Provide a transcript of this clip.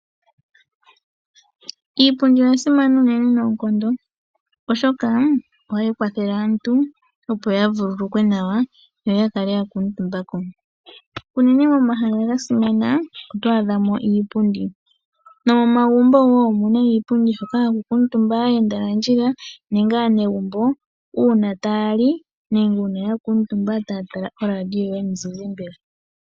Iipundi oya simana unene noonkondo oshoka ohayi kwathele aantu opo ya vululukwe nawa, noya kale ya kuutumba ko. Unene momahala ga simana oto adha mo iipundi. Nomomagumbo wo omuna iipundi hoka ha ku kuutumba aayenda nandjila nenge aanegumbo uuna taya li nenge ya kuutumba ta ya tala oRadio yomuzizimba.